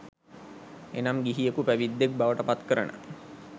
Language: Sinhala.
එනම් ගිහියකු පැවිද්දෙක් බවට පත්කරන